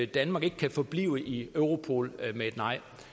danmark ikke kan forblive i europol med et nej